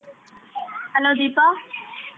Hello Deepa.